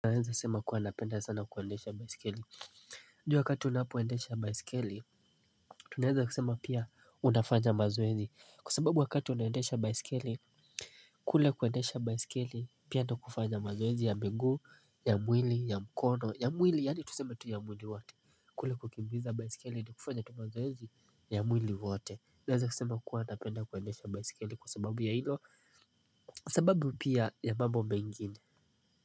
Naeza sema kuwa napenda sana kuendesha baiskeli juwa wakati unapoendesha baiskeli. Tunaeza kusema pia unafanya mazoezi. Kwa sababu wakati unaendesha baiskeli kule kuendesha baiskeli pia ndo kufanya mazoezi ya miguu ya mwili ya mkono ya mwili yaani tusema tu ya mwili wote. Kule kukimbiza baiskeli ni kufanya tu mazoezi ya mwili wote. Naeza kusema kuwa napenda kuendesha baiskeli kwa sababu ya izo sababu pia ya mambo mengine.